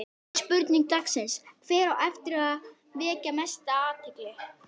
Fyrri spurning dagsins: Hver á eftir að vekja mesta athygli?